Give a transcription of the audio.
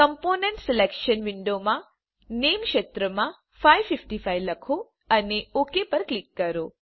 component selection વિન્ડોમાં નામે ક્ષેત્રમાં 555 લખો અને ઓક પર ક્લિક કરો